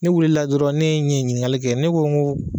Ne wulila dɔrɔn ne ɲɛ ɲiningali kɛ ne ko ko